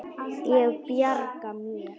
Ég bjarga mér.